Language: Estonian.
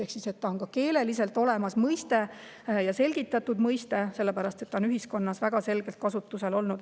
Ehk siis see mõiste on ka keeleliselt olemas, see on selgitatud mõiste, sellepärast et see on ühiskonnas väga selgelt kasutusel.